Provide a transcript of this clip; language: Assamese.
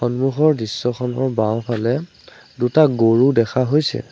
সন্মুখৰ দৃশ্যখনৰ বাওঁফালে দুটা গৰু দেখা হৈছে।